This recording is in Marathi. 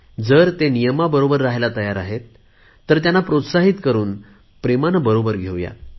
जर ते नियमाबरोबर राहयला तयार आहेत तर त्यांना प्रोत्साहित करुन प्रेमाने बरोबर घेवू